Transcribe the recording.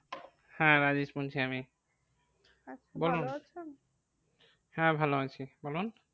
হ্যাঁ রাজেশ বলছি আমি, বলুন হ্যাঁ ভালো আছি বলুন।